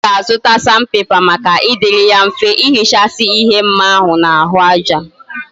Oga azuta sandpaper Maka idiri ya mfe ihichasi ihe mma ahu na ahu aja